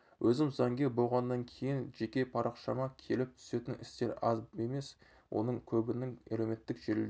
өзім заңгер болғаннан кейін жеке парақшама келіп түсетін істер аз емес оның көбінің әлеуметтік желіде